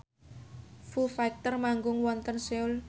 Foo Fighter manggung wonten Seoul